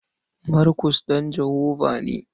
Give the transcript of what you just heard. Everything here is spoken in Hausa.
Markus ɗan Jehovah ne.